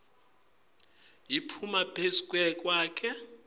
yimphuphu bese ucupha